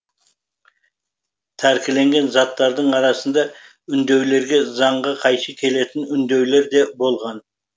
тәркіленген заттардың арасында үндеулерде заңға қайшы келетін үндеулер де болған